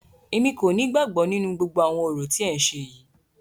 Èmi kò ní ìgbàgbọ nínú gbogbo àwọn orò tí ẹ ń ṣe yìí.